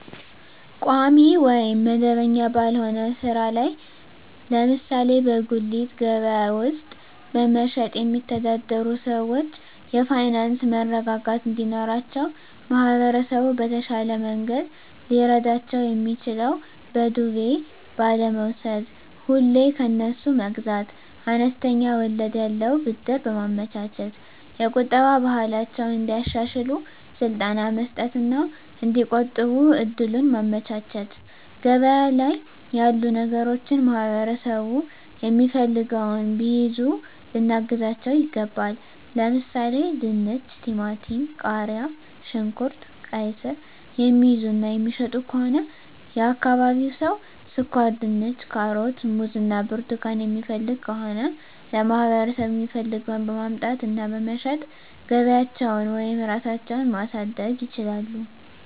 ቋሚ ወይም መደበኛ ባልሆነ ሥራ ላይ ለምሳሌ በጉሊት ገበያ ውስጥ በመሸጥየሚተዳደሩ ሰዎች የፋይናንስ መረጋጋት እንዲኖራቸው ማህበረሰቡ በተሻለ መንገድ ሊረዳቸው የሚችለው በዱቤ ባለመውስድ፤ ሁሌ ከነሱ መግዛት፤ አነስተኛ ወለድ ያለው ብድር በማመቻቸት፤ የቁጠባ ባህላቸውን እንዲያሻሽሉ ስልጠና መስጠት እና እዲቆጥቡ እድሉን ማመቻቸት፤ ገበያ ላይ ያሉ ነገሮችን ማህበረሠቡ የሚፈልገውን ቢይዙ ልናግዛቸው ይገባል። ለምሣሌ፦፤ ድንች፤ ቲማቲም፤ ቃሪያ፣ ሽንኩርት፤ ቃይስር፤ የሚይዙ እና የሚሸጡ ከሆነ የአካባቢው ሠው ስኳርድንች፤ ካሮት፤ ሙዝ እና ብርቱካን የሚፈልግ ከሆነ ለማህበረሰቡ የሚፈልገውን በማምጣት እና በመሸጥ ገቢያቸውን ወይም ራሳቸው ማሣደግ ይችላሉ።